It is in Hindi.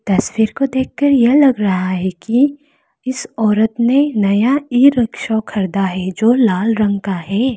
तस्वीर को देखकर यह लग रहा है कि इस औरत ने नया ईरिक्शा खरीदा है जो लाल रंग का है।